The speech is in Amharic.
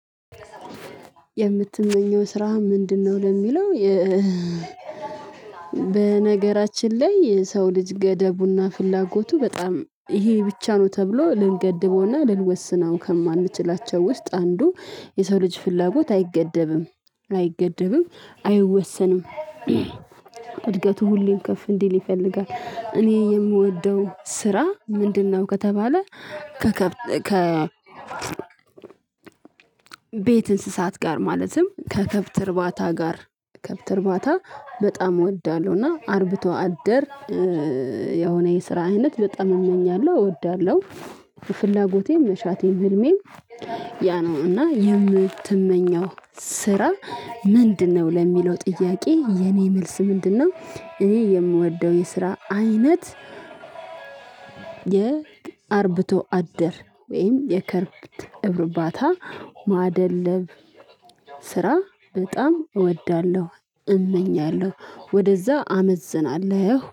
የምትመኘው ስራ ምንድነው? ለሚለው በነገራችን ላይ የሰው ልጅ ገደቡና ፍላጎቱ በጣም ይሄ ብቻ ነው ተብሎ ልንገድበውና ልንወስነው ከማንችላቸው ውስጥ አንዱ የሰው ልጅ ፍላጎት አይገደብም፣ አይገደብም፣ አይወሰንም። እድገቱ ሁሌም ከፍ እንዲል ይፈልጋል። እኔ የምወደው ስራ ምንድነው? ከተባለ ከከብት ከ ቤት እንስሳት ጋር ማለትም ከከብት እርባታ ጋር ከከብት እርባታ በጣም እወዳለሁ እና አርብቶ አደር የሆነ የስራ አይነት በጣም እመኛለሁ፣ አወዳለሁ። ፍላጎቴም፣ መሻቴም፣ ህልሜም ያ ነው እና የምትመኘው ስራ ምንድነው? ለሚለው ጥያቄ የኔ መልስ ምንድነው እኔ የምወደው የስራ አይነት የአርብቶ አደር ወይም የከብት እርባታ ማደለብ ስራ በጣም እወዳለሁ፣ እመኛለሁ ወደዛ አመዝናለሁ።